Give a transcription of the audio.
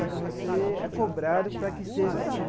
Só que você é cobrado para que seja assim.